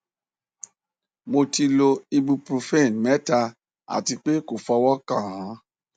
mo ti lo ibuprofen mẹta ati pe ko fọwọ kan an